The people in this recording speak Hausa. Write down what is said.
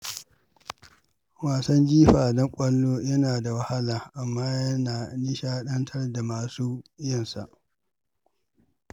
Wasan jifa da ƙwallo yana da wahala, amma yana nishaɗantar da masu yinsa.